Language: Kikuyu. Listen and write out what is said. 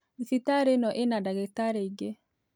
Thibitarĩ ĩno ĩna ndagĩtarĩ aingĩ